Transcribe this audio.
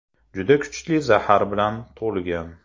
Juda kuchli zahar bilan to‘lgan.